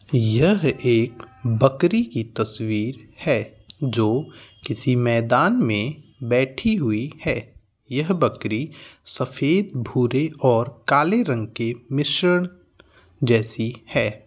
यह एक बकरी की तस्वीर है | जो किसी मैदान में बैठी हुई है | यह बकरी सफेद भूरे और काले रंग के मिश्रण जैसी है ।